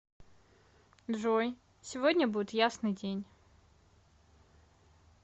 джой сегодня будет ясный день